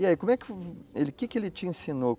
E aí, como é que, que que ele te ensinou?